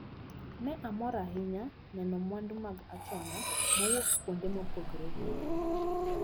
Ne amor ahinya neno mwandu mag achona mowuok kuonde mopogre opogre.